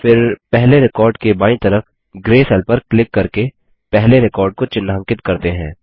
फिर पहले रिकॉर्ड के बायीं तरफ ग्रे सेल पर क्लिक करके पहले रिकॉर्ड को चिह्नांकित करते हैं